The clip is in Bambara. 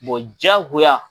diyagoya